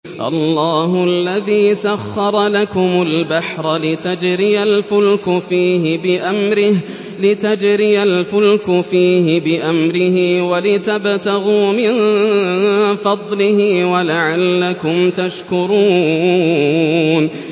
۞ اللَّهُ الَّذِي سَخَّرَ لَكُمُ الْبَحْرَ لِتَجْرِيَ الْفُلْكُ فِيهِ بِأَمْرِهِ وَلِتَبْتَغُوا مِن فَضْلِهِ وَلَعَلَّكُمْ تَشْكُرُونَ